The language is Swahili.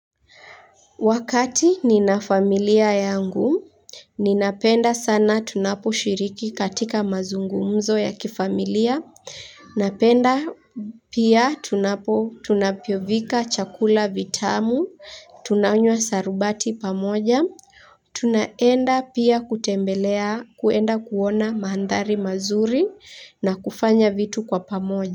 Wakati ninafamilia yangu, ninapenda sana tunaposhiriki katika mazungumzo ya kifamilia, napenda pia tunapo tunapopika chakula vitamu, tunanywa sharubati pamoja, tunaenda pia kutembelea kuenda kuona maandhari mazuri na kufanya vitu kwa pamoja.